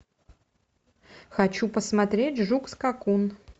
хочу посмотреть жук скакун